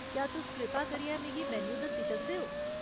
क्या तुस कृपा करियै मिगी मेन्यू दस्सी सकदे ओ ?